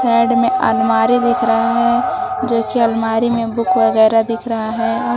Add में अलमारी दिख रहा है जो कि अलमारी में बुक वगैरा दिख रहा है।